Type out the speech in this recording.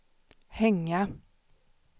hänga